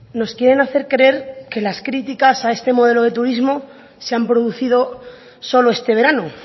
nos quieren hacer creer que las críticas a este modelo de turismo se han producido solo este verano